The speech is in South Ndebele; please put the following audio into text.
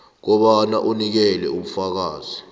kobana unikele ubufakazi